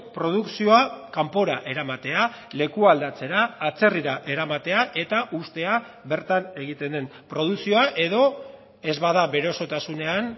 produkzioa kanpora eramatea lekua aldatzera atzerrira eramatea eta uztea bertan egiten den produkzioa edo ez bada bere osotasunean